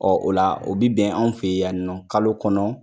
o la o bi bɛn an fɛ yan nɔ kalo kɔnɔ.